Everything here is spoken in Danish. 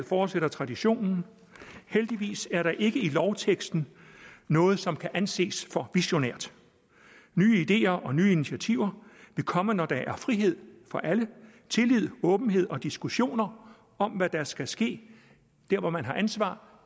fortsætter traditionen heldigvis er der ikke i lovteksten noget som kan anses for visionært nye ideer og nye initiativer vil komme når der er frihed for alle tillid åbenhed og diskussioner om hvad der skal ske dér hvor man har ansvar